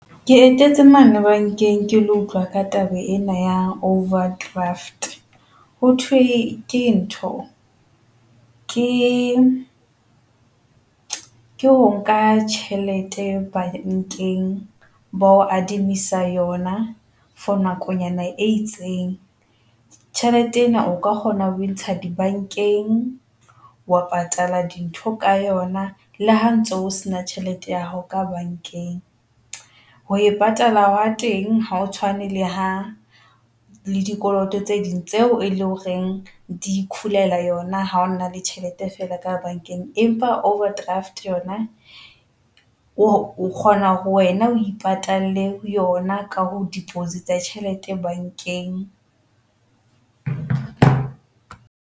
Ke etetse mane bankeng, ke lo utlwa ka taba ena ya overdraft, ho thwe ke ntho ke ke ho nka tjhelete bankeng bo yona for nakonyana e itseng. Tjhelete ena o ka kgona ho ntsha di bankeng, wa patala dintho ka yona le ha ntso o sena tjhelete ya hao ka bankeng ho e patala wa teng. Ha o tshwane le hang le dikoloto tse ding tseo e leng horeng di khulela yona. Ha o na le tjhelete fela ka bankeng, empa overdraft yona, o kgona ho wena o ipatalle yona ka ho deposit a tjhelete bankeng.